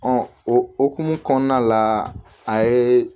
o hokumu kɔnɔna la a ye